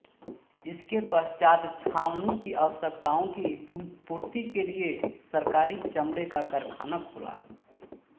इसके पश्चात् छावनी की आवश्यकताओं की पूर्ति के लिए सरकारी चमड़े का कारखाना खुला